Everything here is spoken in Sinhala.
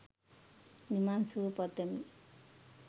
නිවන් සුව පතමි